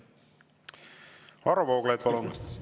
Varro Vooglaid, palun!